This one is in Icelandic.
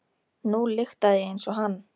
Nú lyktaði ég eins og hann.